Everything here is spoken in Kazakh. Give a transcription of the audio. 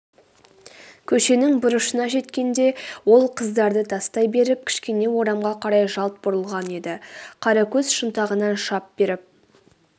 көшенің бұрышына жеткенде ол қыздарды тастай беріп кішкене орамға қарай жалт бұрылған еді қаракөз шынтағынан шап беріп